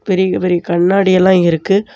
பெரிய பெரிய கண்ணாடி எல்லா இருக்கு.